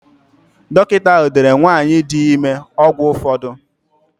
Dọkịta ahụ deere nwanyị dị ime ọgwụ ụfọdụ.